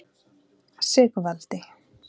Sigvaldi